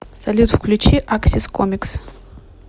салют включи аксис комикс